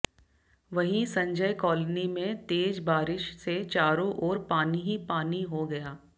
वहीं संजय कॉलोनी में तेज बारिश से चारों ओर पानी ही पानी हो गया